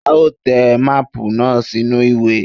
A ó te máàpù náà sínú ìwé.